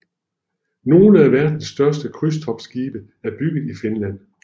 Nogle af verdens største krydstogtskibe er bygget i Finland